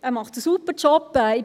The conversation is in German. Er macht einen super Job.